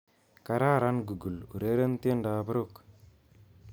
Kararan google ureren tiendoab Rock